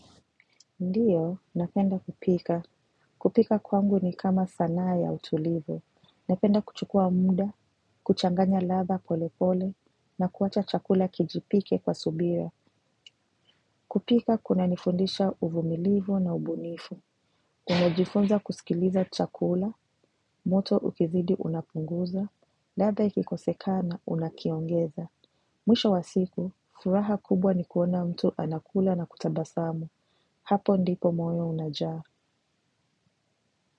Ndiyo, napenda kupika. Kupika kwangu ni kama sanaa ya utulivu. Napenda kuchukua muda, kuchanganya ladha polepole, na kuwacha chakula kijipike kwa subira. Kupika kunanifundisha uvumilivu na ubunifu. Nimejifunza kusikiliza chakula, moto ukizidi unapunguza, ladha ikikosekana unakiongeza. Mwisho wa siku, furaha kubwa ni kuona mtu anakula na kutabasamu. Hapo ndipo moyo unajaa.